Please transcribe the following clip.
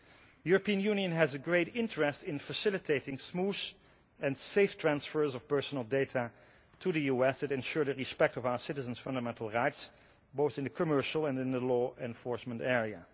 The European Union has a great interest in facilitating smooth and safe transfers of personal data to the US that ensure the respect of our citizens' fundamental rights, both in the commercial and in the law enforcement area.